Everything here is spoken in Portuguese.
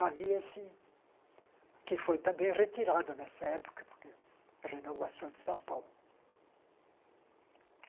Havia esse... Que foi também retirado nessa época, porque... Renovação de São Paulo.